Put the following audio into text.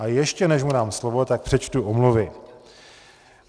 Ale ještě než mu dám slovo, tak přečtu omluvy.